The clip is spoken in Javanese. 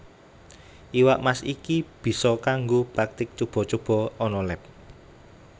Iwak Mas iki bisa kanggo praktik cuba cuba ana leb